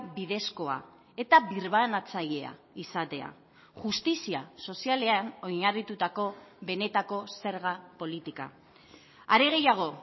bidezkoa eta birbanatzailea izatea justizia sozialean oinarritutako benetako zerga politika are gehiago